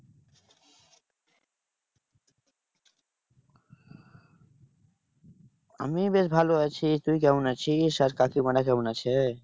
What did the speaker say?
আমি বেশ ভালো আছি। তুই কেমন আছিস? আর কাকিমারা কেমন আছে?